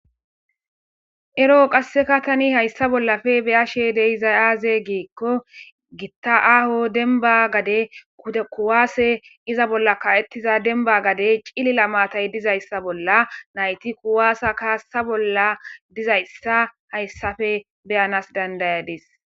Ero qaseka Tani haysa bollappe beyashe de'izay aze gikko gotta aho demba gade pude kuwasey pizza bolla ka'etiza demba gade cilila maatay dizaysa nayti kuwasa kasa bolla dizaysa haysappe beyana danda'adis